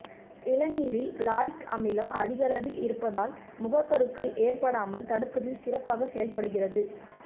இளநீரில் lauric அமிலம் அதிகளவில் இருப்பதால் முகப்பருக்கள் ஏற்படாமல் தடுப்பதில் சிறப்பாக செயல்படுகிறது